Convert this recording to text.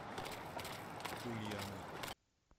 ульяны